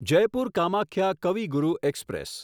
Jaipur Kamakhya Kavi Guru express